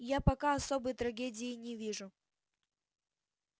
я пока особой трагедии не вижу